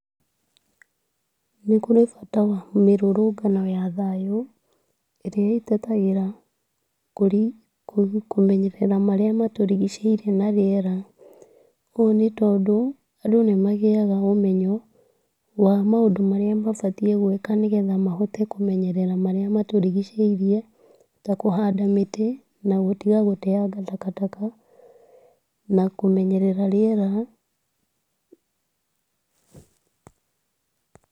Nĩkũrĩ bata wa mĩrũrũngano ya thayũ ,ĩrĩa ĩtetagĩra kũrĩ kũmenyerera marĩa matũrigicĩirie na rĩera, ũũ nĩ tondũ, andũ nĩ magia ũmenyo wa maũndũ marĩa mabatiĩ nĩ gwĩka, nĩgetha mahote kũmenyerera marĩa matũrigicĩirie, ta kũhanda mĩtĩ na gũtiga gũteanga takataka, na kũmenyerera rĩera.